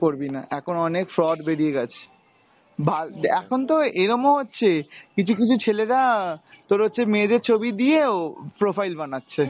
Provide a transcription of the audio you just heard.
একদম করবি না, এখন অনেক fraud বেরিয়ে গেছে , ভা এখন তো এরমও হচ্ছে কিছু কিছু ছেলেরা তোর হচ্ছে মেয়েদের ছবি দিয়েও profile বানাচ্ছে।